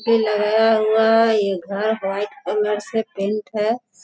भी लगाया हुआ है ये घर व्हाइट कलर से पेंट है।